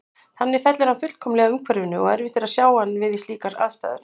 Þannig fellur hann fullkomlega að umhverfinu og erfitt er að sjá hann við slíkar aðstæður.